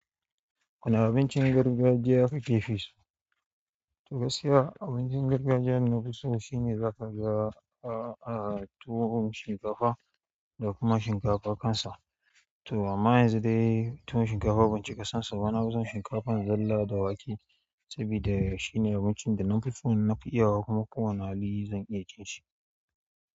Wane abincin gargajiya kake fi so? To gaskiya abincin gargajiya na fi so shine za ka ga, ah, ah, tuwon shinkafa da kuma shinkafa kansa. To amma yanzu dai tuwon shinkafa ban cika son shi ba na fi son shinkafa zalla da wake sabida shine abincin da na fi so, na fi iya kuma kowane hali zan iya cin shi.